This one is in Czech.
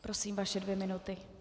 Prosím, vaše dvě minuty.